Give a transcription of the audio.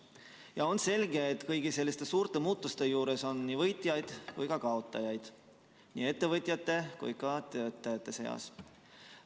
Ja on selge, et kõigi selliste suurte muutuste juures on nii võitjaid kui ka kaotajaid nii ettevõtjate kui ka töötajate seas.